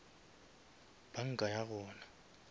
banka ya gona